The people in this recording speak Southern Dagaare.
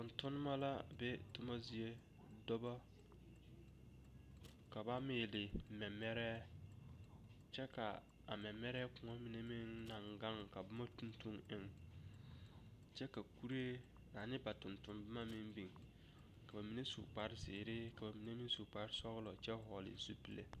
Tontonnema la be toma zie dɔbɔ ka ba meele mɛmɛrɛɛ kyɛ ka a mɛmɛrɛɛ kõɔ mine meŋ naŋ gaŋ tuŋ tuŋ eŋ kyɛ ka kuree ane ba tontonnne boma meŋ biŋ ka ba mine su kpare zeere ka ba mine meŋ su kpare sɔglɔ kyɛ vɔgle zupile.